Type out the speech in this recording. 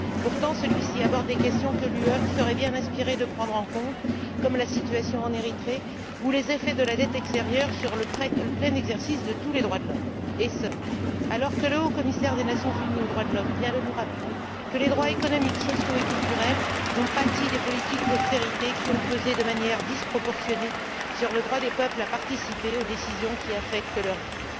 Pourtant, celui ci aborde des questions que l'Union européenne serait bien inspirée de prendre en compte, comme la situation en Érythrée ou les effets de la dette extérieure sur le plein exercice de tous les droits de l'homme et ce, alors que le Haut-Commissaire des Nations unies aux droits de l'homme vient de nous rappeler que les droits économiques, sociaux et culturels ont pâti des politiques d'austérité, qui ont pesé de manière disproportionnée sur le droit des peuples à participer aux décisions qui affectent leur vie.